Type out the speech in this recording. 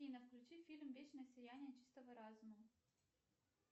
афина включи фильм вечное сияние чистого разума